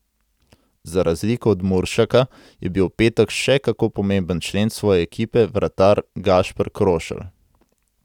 Za razliko od Muršaka je bil v petek še kako pomemben člen svoje ekipe vratar Gašper Krošelj.